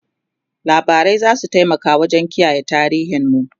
labarai zasu taimaka wajen kiyaye tarihin mu